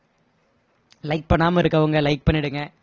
like பண்ணாம இருக்கவங்க like பண்ணிடுங்க